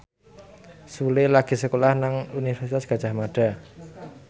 Sule lagi sekolah nang Universitas Gadjah Mada